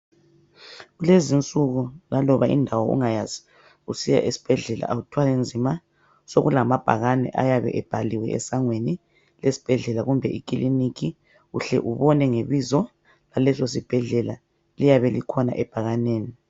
Lezinsuku laloba indawo ungayazi usiya esibhedlela awuthwali nzima sokulamabhakani ayabe ebhaliwe esangweni lesibhedlela kumbe ekliniki uhle ubone ngebizo laleso sibhedlela liyabelikhona ebhakaneni